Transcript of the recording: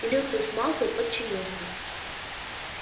и люциус малфой подчинился